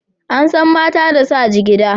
An san mata da sa jigida.